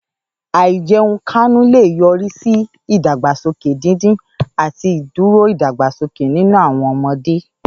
Àìjẹunkánú lè yọrí sí ìdàgbàsókè dídín àti ìdúró ìdàgbàsókè nínú àwọn ọmọdé.